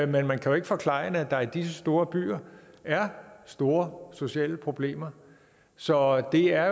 men man kan jo ikke forklejne at der i disse store byer er store sociale problemer så det er